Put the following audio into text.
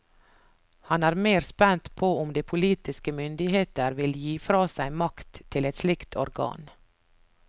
Han er mer spent på om de politiske myndigheter vil gi fra seg makt til et slikt organ.